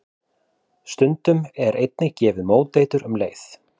Stundum er einnig gefið móteitur um leið.